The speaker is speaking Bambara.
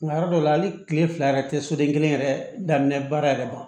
Nka yɔrɔ dɔ la hali kile fila yɛrɛ tɛ soden kelen yɛrɛ daminɛ baara yɛrɛ ma